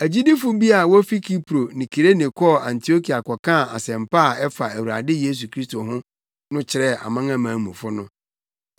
Agyidifo bi a wofi Kipro ne Kirene kɔɔ Antiokia kɔkaa asɛmpa a ɛfa Awurade Yesu Kristo ho no kyerɛɛ amanamanmufo no.